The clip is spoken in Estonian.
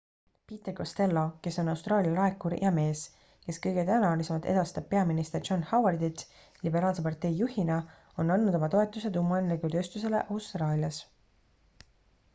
peter costello kes on austraalia laekur ja mees kes kõige tõenäolisemalt edastab peaminister john howardit liberaalse partei juhina on andnud oma toetuse tuumaenergiatööstusele austraalias